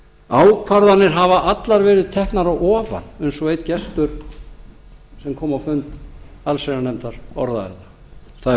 ákvarðanir hafa allar verið teknar að ofan eins og einn gestur sem kom á fund allsherjarnefndar orðaði það það er